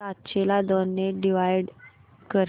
सातशे ला दोन ने डिवाइड कर